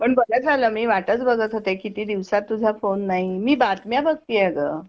पण बरं झालं मी वाटच बघत होते किती दिवसात तुझा फोन नाही मी बातम्या बघतीये गं.